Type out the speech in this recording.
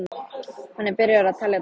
Hann er byrjaður að telja dagana.